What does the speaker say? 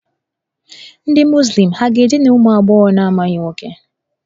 Ndị Muzlim ha ga-edina ụmụ agbọghọ na-amaghị nwoke?